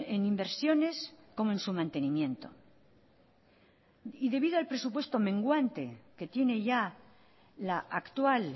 en inversiones como en su mantenimiento y debido al presupuesto menguante que tiene ya la actual